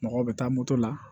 Mɔgɔw bɛ taa moto la